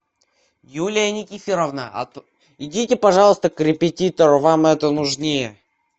юлия никифоровна идите пожалуйста к репетитору вам это нужнее